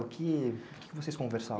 O que, o que que vocês conversavam?